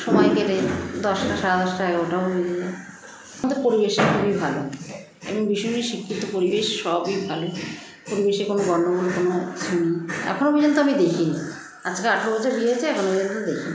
সময় কেটে যায় দশটা সাড়ে দশটা এগারোটাও বেজে যায় আমাদের পরিবেশ খুবই ভালো এমনি ভীষণই শিক্ষিত পরিবেশ সবই ভালো পরিবেশে কোনো গন্ডগোল নেই কোনো কিছু নেই এখনো পর্যন্ত আমি দেখিনি আজকে আঠেরো বছর বিয়ে হয়েছে এখনো পর্যন্ত দেখিনি